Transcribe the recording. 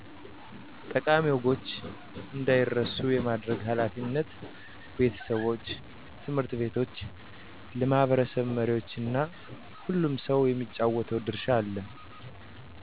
ጠቃሚ ወጎች እንዳይረሱ የማድረግ ኃላፊነት ቤተሰቦች፣ ት/ ቤቶች፣ ለማህበረሰብ መሪዎች እና ሁሉም ሰው የሚጫወተው ድርሻ አለ።